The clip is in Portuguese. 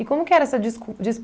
E como que era essa discu